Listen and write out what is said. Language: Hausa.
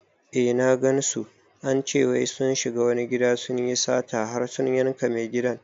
Eh na gansu, ance wai sun shiga wani gida sunyi sata har sun yanka mai gadi